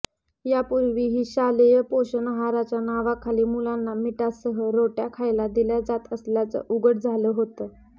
यापूर्वीही शालेय पोषण आहाराच्या नावाखाली मुलांना मिठासह रोट्या खायला दिल्या जात असल्याचं उघड झालं होतं